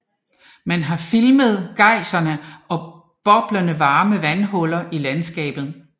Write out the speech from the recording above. Man har filmet geysere og boblende varme vandhuller i landskabet